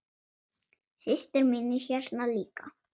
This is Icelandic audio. Systir mín er hérna líka.